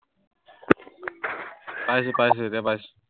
পাইছো, পাইছো এতিয়া পাইছো।